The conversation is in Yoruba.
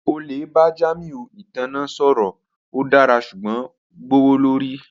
O le ba Jamiu itanna sọrọ, o dara ṣugbọn gbowolori